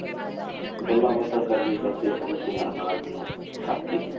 ਗੱਲਾਂ ਬਾਤਾਂ ਕਰਦੇ ਕਰਦੇ ਸਾਨੂੰ ਧਿਆਨ ਆ ਗਿਆ ਸਾਕੇ ਦਾ।